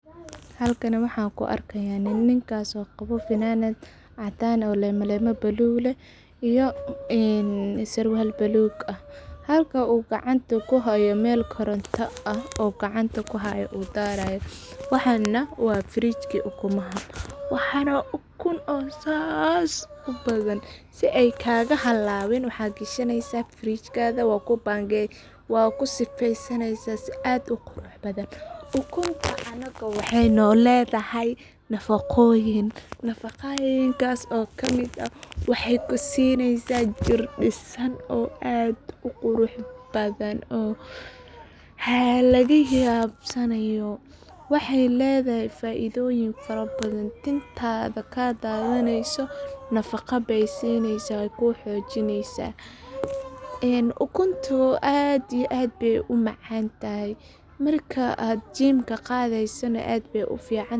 Halkani waxan ku arki haya nin, ninkas oo qawo fananad cadan ah oo lema lema balug leh iyo sarwal balug ah, halka u gacanta ku hayo meel koronta ah ayu gacanta ku haya u daraya, waxana waa firijki ukumaha, waxan oo ukun oo sas u badan si ee kaga halawin waxaa gashaneysa firijkaga waa ku bangeyni waa ku sifeysaneysa si qurux badan, ukunta anaga wexee noledhahay nafaqoyiin, nafaqoyiinkas oo kamiid ah wexee ku sineysaa jir disan oo aad u qurux badan halagayabsanayo, wexee ledhahay faidhoyin fara badan tintadha dathaneyso nafaqa ayey sineysaa wee ku xojineysaa, ee ukuntu aad iyo aad ayey u maqantahay, marka aad jimka qadheysana aad ayey u ficantahay.